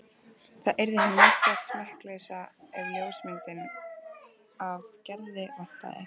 Það yrði hin mesta smekkleysa ef ljósmyndina af Gerði vantaði.